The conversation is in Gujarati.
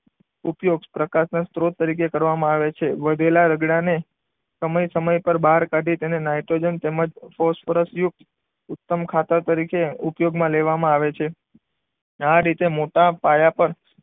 ઉપયોગ પ્રકાશના સ્ત્રોત તરીકે કરવામાં આવે છે. વધેલા રગડાને સમય સમય પર બહાર કાઢી તેમાં નાઇટ્રોજન તેમ જ ફોસ્ફરસ યુક્ત ઉત્તમ ખાતર તરીકે ઉપયોગમાં લેવામાં આવે છે. અને આ રીતે મોટા પાયા પર